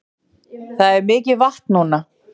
Það er mikið vatn núna